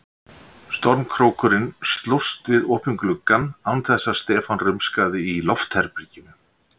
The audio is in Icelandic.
Stormkrókurinn slóst við opinn gluggann án þess að Stefán rumskaði í loftherberginu.